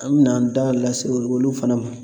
An mɛ na an da lase ol olu fana ma.